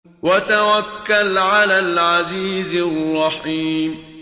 وَتَوَكَّلْ عَلَى الْعَزِيزِ الرَّحِيمِ